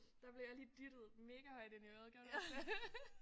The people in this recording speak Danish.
Der blev jeg lige dyttet megahøjt ind i øret gjorde du også det?